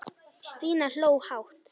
Stína hló hátt.